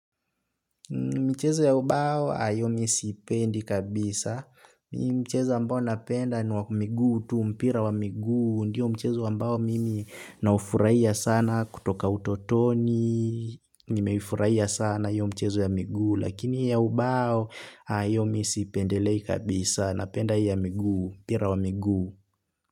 Mchezo ya ubao nayo mi sipendi kabisa. Mchezo ambbao napenda ni wa miguu tu mpira wa miguu. Ndiyo mchezo ambao mimi naufurahia sana kutoka utotoni. Nimeifurahia sana iyo mchezo ya miguu. Lakini ya ubao hiyo mi sipendelei kabisa. Napenda ya miguu. Mpira wa miguu.